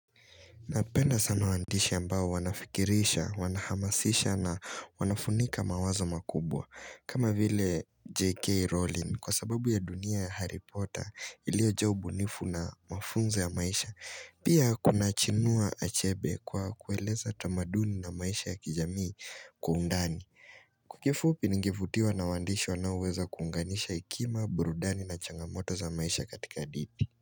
Napenda sana waandishi ambao wanafikirisha, wanahamasisha na wanafunika mawazo makubwa. Kama vile J.K. Rowling kwa sababu ya dunia ya Harry Potter ilio jaa ubunifu na mafunzo ya maisha. Pia kuna Chinua Achebe kwa kueleza tamanduni na maisha ya kijamii kwa undani kifupi ningevutiwa na waandishi wanaoweza kuunganisha Hekima, burudani na changamoto za maisha katika hadithi.